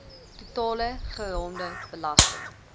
totale geraamde belasting